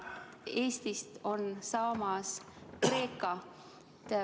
Eestist on saamas Kreeka.